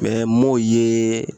m'o ye